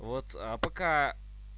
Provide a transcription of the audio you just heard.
вот а пока